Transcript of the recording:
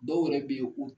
Dɔw yɛrɛ bɛ yen u